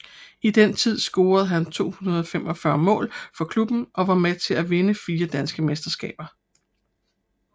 I den tid scorede han 245 mål for klubben og var med til at vinde fire danske mesterskaber